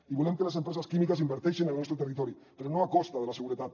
i volem que les empreses químiques inverteixin en el nostre territori però no a costa de la seguretat